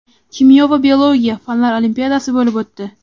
kimyo va biologiya) fanlar olimpiadasi bo‘lib o‘tdi.